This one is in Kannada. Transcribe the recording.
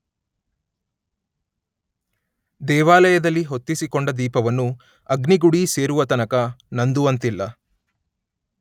ದೇವಾಲಯದಲ್ಲಿ ಹೊತ್ತಿಸಿಕೊಂಡ ದೀಪವನ್ನು ಅಗ್ನಿ ಗುಡಿ ಸೇರುವತನಕ ನಂದುವಂತಿಲ್ಲ.